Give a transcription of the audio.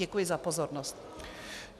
Děkuji za pozornost.